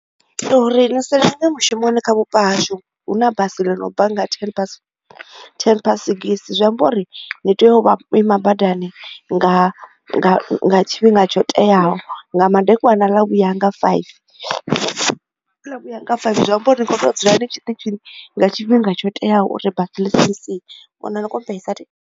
Uri ni sa lenge mushumoni kha vhupo hashu hu na basi ḽo no bva nga ten pass sengisi zwi amba uri ni tea u vha ima badani nga tshifhinga nga tsho teaho nga madekwana ḽa vhuya hanga five ḽa vhu yanga five zwi amba uri ri kho tea u dzula ni tshiṱitshini nga tshifhinga tsho teaho uri basi ḽisi ni sie.